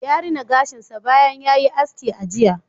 Ya rina gashin sa bayan ya yi aski a jiya